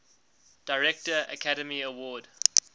director academy award